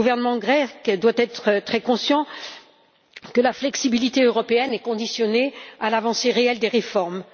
Le gouvernement grec doit être très conscient que la flexibilité européenne est conditionnée à l'avancée réelle des réformes.